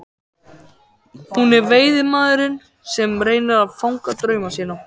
Hún er veiðimaðurinn sem reynir að fanga drauma sína.